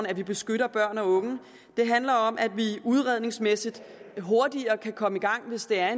at vi beskytter børn og unge det handler om at vi udredningsmæssigt hurtigere kan komme i gang hvis det er